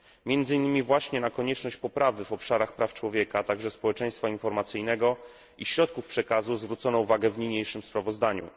Między innymi właśnie na konieczność poprawy w obszarach praw człowieka, a także społeczeństwa informacyjnego i środków przekazu zwrócono uwagę w niniejszym sprawozdaniu.